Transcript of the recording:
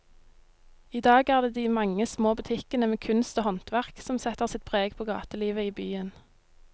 I dag er det de mange små butikkene med kunst og håndverk som setter sitt preg på gatelivet i byen.